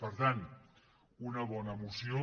per tant una bona moció